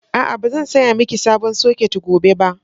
A'a, ba zan saya miki sabon soket gobe ba.